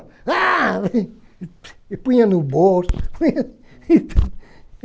Ah E punha no bolso.